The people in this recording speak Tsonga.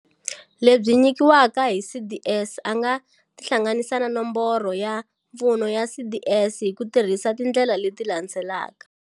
Lebyi nyikiwaka hi CDS a nga tihlanganisa na Nomboro ya Pfuno ya CDS hi ku tirhisa tindlela leti landzelaka.